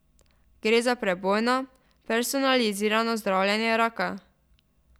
Gre za prebojno, personalizirano zdravljenje raka.